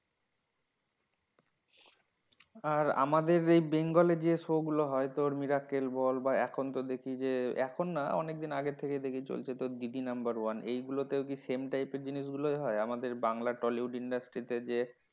আর আমাদের এই bengal এ যে show গুলো হয়, তোর মিরাক্কেল বল বা এখন তো দেখি যে, এখন না অনেকদিন আগে থেকে চলছে তোর দিদি নাম্বার ওয়ান। এইগুলোতেও কি same type এর জিনিসগুলোই হয়? আমাদের বাংলা tollywood industry তে যে